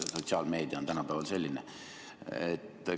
Sotsiaalmeedia on tänapäeval selline.